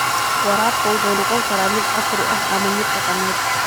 Waraabka wuxuu noqon karaa mid casri ah ama mid dhaqameed.